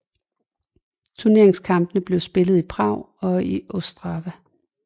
Turneringskampene blev spillet i Prag og Ostrava